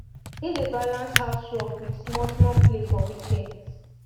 him dey balance house work with small small play for weekends